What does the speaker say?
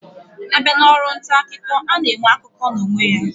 Abia na Ọrụ ntaakụkọ, ana enwe akụkọ na onwe ya